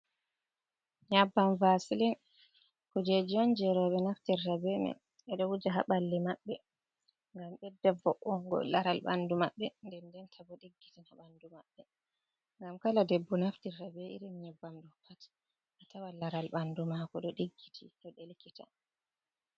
Nyabbam vaasilin, kuujeeji on jey rowɓe naftirta bee man, ɓe ɗo wuja ha ɓalli maɓɓe ngam ɓedda vo'ungo laral ɓanndu maɓɓe, ndenndenta bo ɗiggitina ɓanndu maɓɓe. Ngam kala debbo naftirta bee irin nyabbam ɗo pat, a tawan laral ɓanndu maako ɗo ɗiggiti, ɗo ɗelkita.